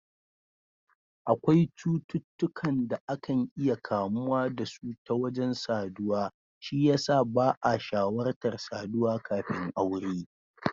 Akwai cututtukan da akan iya kamuwa da su ta wajen saduwa, shi yasa ba'a shawartar saduwa kafin aure.